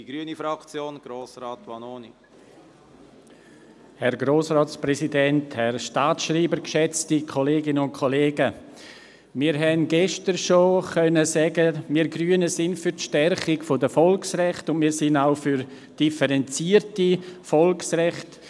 Wir konnten gestern schon sagen, wir Grünen seien für die Stärkung der Volksrechte und wir seien auch für differenzierte Volksrechte.